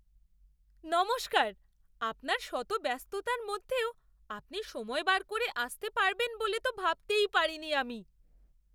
নমস্কার! আপনার শত ব্যস্ততার মধ্যেও আপনি সময় বার করে আসতে পারবেন বলে তো ভাবতেই পারিনি আমি!